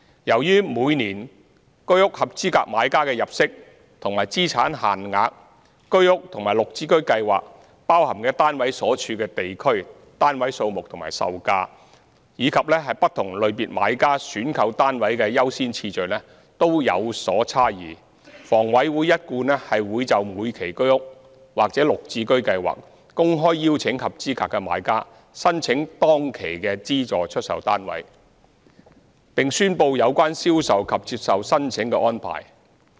由於每年居屋合資格買家的入息及資產限額、居屋和綠置居包含的單位所處的地區、單位數目和售價及不同類別買家選購單位的優先次序均有所差異，房委會一貫會就每期居屋或綠置居公開邀請合資格的買家申請當期的資助出售單位，並宣布有關銷售及接受申請的安排。